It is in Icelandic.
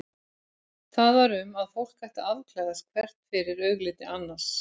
Það var um að fólk ætti að afklæðast hvert fyrir augliti annars.